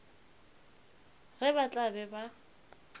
ge ba tla be ba